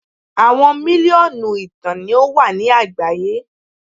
Awọn miliọnu ìtàn ni o wa ni agbaye